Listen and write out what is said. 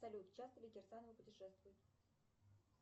салют часто ли кирсановы путешествуют